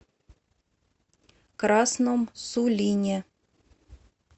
красном сулине